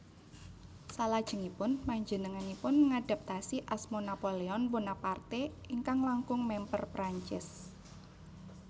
Salajengipun panjenenganipun ngadhaptasi asma Napoléon Bonaparte ingkang langkung mèmper Prancis